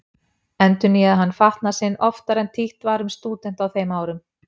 Endurnýjaði hann fatnað sinn oftar en títt var um stúdenta á þeim árum.